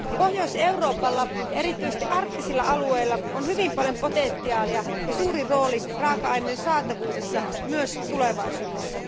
Pohjois Euroopalla ja erityisesti arktisilla alueilla on hyvin paljon potentiaalia ja suuri rooli raaka aineiden saatavuudessa myös tulevaisuudessa.